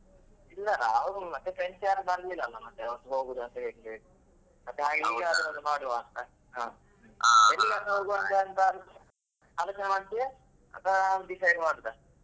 ಇಲ್ಲ ನಾವು ಮತ್ತೆ friends ಯಾರು ಬರ್ಲಿಲ್ಲಲ್ಲಾ ಮತ್ತೆ ಹೊಗುದಂತ ಹೇಳಿ ಹೇಳಿ ಮತ್ತೆ ಈಗಾದ್ರೂ ಹಾಗೆ ಒಂದು ಮಾಡುವಂತಾ ಹೋಗುವಂತ ಎಂತಾದ್ರೂ ಆಲೋಚನೆ ಮಾಡ್ತಿಯಾ ಅಥವಾ ನಾನು decide ಮಾಡುದ.